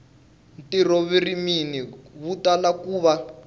ntivoririmi wu tala ku va